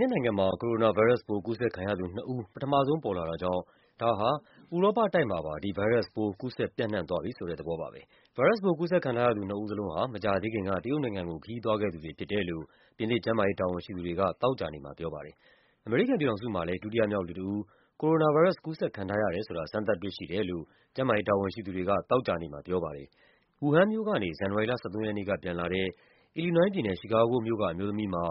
သစ်နိုင်ငံမှာ Coronavirus ကူးစက်ခံရသူသုံးဦး ပထမဆုံး ပေါ်လာတာကြောင့် ဒါဟာ ဥရောပတိုက် မှာပါ ဒီဗိုင်းရပ်စ်ပိုး ကူးစက်ပြန့်နှံ့သွားပြီဆိုတဲ့ သဘောပါပဲ။ ဗိုင်းရပ်စ်ပိုး ကူးစက်ခံထားရသူ သုံးဦးထဲမှာ နှစ်ဦးဟာ မကြာသေးခင်က တရုတ်နိုင်ငံကို ခရီးသွားခဲ့သူတွေဖြစ်တယ်လို့ ပြင်သစ် ကျန်းမာရေးတာဝန်ရှိသူတွေက သောကြာနေ့ မှာပြောပါတယ်။ အမေရိကန်ပြည်ထောင်စုမှာလည်း ဒုတိယမြောက်လူတဦး coronavirus ကူးစက်ခံထားရတယ်ဆိုတာ စမ်းသပ်တွေ့ရှိတယ်လို့ ကျန်းမာရေးတာဝန်ရှိသူတွေက သောကြာနေ့မှာပြောပါတယ်။ Wuhan မြို့ကနေ ဇန်နဝါရီလ ၁၃ ရက်နေ့ကပြန်လာတဲ့ အီလီနွိုင်းပြည်နယ်၊ ချီကာဂိုမြို့က အမျိုးသမီးမှာ